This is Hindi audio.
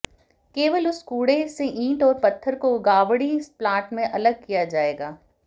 केवल उस कूडे़ से ईंट और पत्थर को गावड़ी प्लांट में अलग किया जाएगा